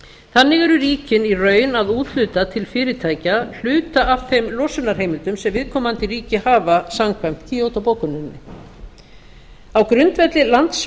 þannig eru ríkin í raun að úthluta til fyrirtækja hluta af þeim losunarheimildum sem viðkomandi ríki hafa samkvæmt kyoto bókuninni á grundvelli